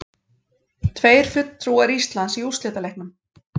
Tveir fulltrúar Íslands í úrslitaleiknum